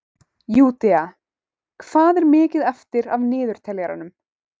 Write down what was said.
Júdea, hvað er mikið eftir af niðurteljaranum?